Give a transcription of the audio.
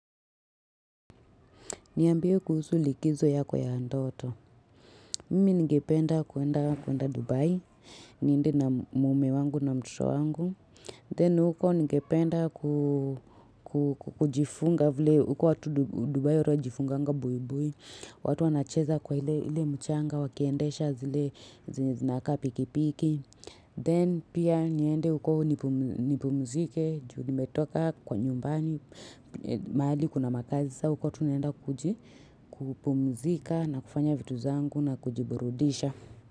Niambie kuhusu likizo yako ya ndoto. Mimi ningependa kuenda kuenda Dubai. Niende na mume wangu na mtoto wangu. Then huko ningependa kujifunga vile. Huko watu Dubai watu jifunga nga bui bui. Watu wanacheza kwa ile mchanga. Wakiendesha zile zenye zinakaa pikipiki. Then pia niende huko nipumzike. Juu nimetoka kwa nyumbani. Mahali kuna makazi. Saa uko tunaenda kujipumzika na kufanya vitu zangu na kujiburudisha.